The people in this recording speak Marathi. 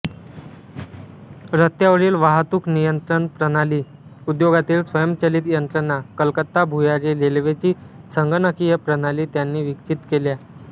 रस्त्यावरील वाहतूक नियंत्रण प्रणाली उद्योगातील स्वयंचलित यंत्रणा कलकत्ता भुयारी रेल्वेची संगणकीय प्रणाली त्यांनी विकसित केल्या